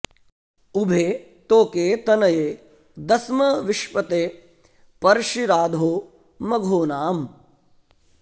उ॒भे तो॒के तन॑ये दस्म विश्पते॒ पर्षि॒ राधो॑ म॒घोना॑म्